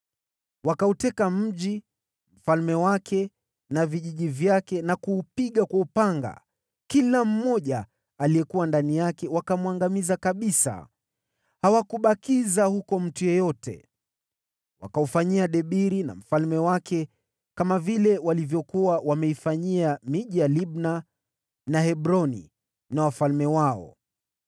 Wakauteka mji, mfalme wake na vijiji vyake, na kuupiga kwa upanga. Kila mmoja aliyekuwa ndani yake wakamwangamiza kabisa. Hawakubakiza mtu yeyote. Wakaufanyia Debiri na mfalme wake kama vile walivyokuwa wameifanyia miji ya Libna na Hebroni na wafalme wao.